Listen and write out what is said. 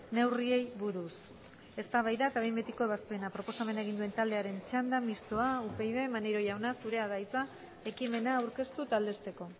neurriei buruz eztabaida eta behin betiko ebazpena proposamena egin duen taldearen txanda mistoa upyd maneiro jauna zurea da hitza ekimena aurkeztu eta aldezteko